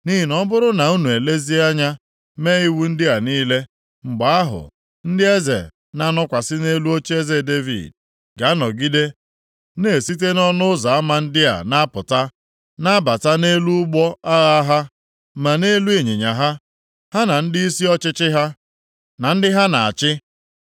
Nʼihi na ọ bụrụ na unu elezie anya mee iwu ndị a niile, mgbe ahụ, ndị eze na-anọkwasị nʼelu ocheeze Devid ga-anọgide na-esite nʼọnụ ụzọ ama ndị a na-apụta, na-abata nʼelu ụgbọ agha ha, ma nʼelu ịnyịnya ha, ha na ndịisi ọchịchị ha, na ndị ha na-achị.